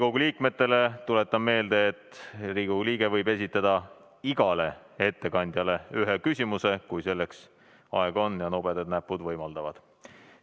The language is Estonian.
Tuletan teile meelde, et Riigikogu liige võib esitada igale ettekandjale ühe küsimuse, kui selleks aega on ja nobedad näpud võimaldavad.